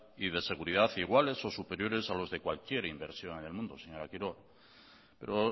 y de seguridad iguales o superiores a los de cualquier inversora en el mundo señora quiroga pero